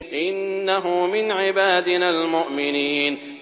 إِنَّهُ مِنْ عِبَادِنَا الْمُؤْمِنِينَ